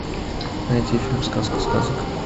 найти фильм сказка сказок